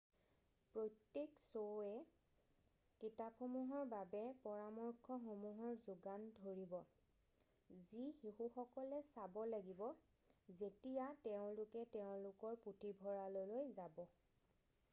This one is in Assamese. প্ৰত্যেক শ্ব'য়ে কিতাপসমূহৰ বাবে পৰামৰ্শসমূহৰ যোগান ধৰিব যি শিশুসকলে চাব লাগিব যেতিয়া তেওঁলোকে তেওঁলোকৰ পুথিভঁৰাললৈ যাব৷